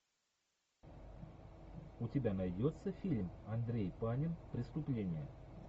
у тебя найдется фильм андрей панин преступление